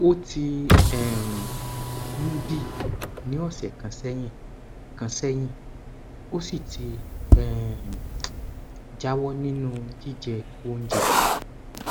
ó ti um ń bii ní ọsẹ kan sẹyìn kan sẹyìn ó sì ti um jáwọ nínú jíjẹ oúnjẹ